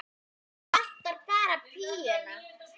Það vantaði bara pípuna.